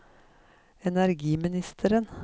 energiministeren